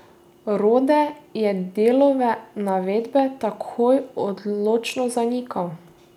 Rode je Delove navedbe takoj odločno zanikal.